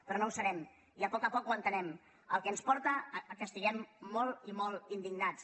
però no ho serem i a poc a poc ho entenem cosa que ens porta a estar molt i molt indignats